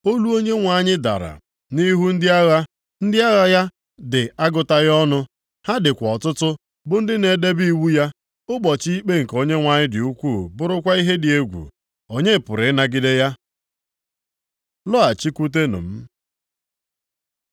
Olu Onyenwe anyị dara nʼihu ndị agha, ndị agha ya dị agụtaghị ọnụ, ha dịkwa ọtụtụ bụ ndị na-edebe iwu ya. Ụbọchị ikpe nke Onyenwe anyị dị ukwu bụrụkwa ihe dị egwu. Onye pụrụ ịnagide ya? Lọghachikwute m